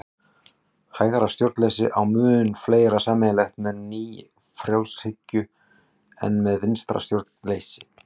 Hægra stjórnleysi á mun fleira sameiginlegt með nýfrjálshyggju en með vinstra stjórnleysi.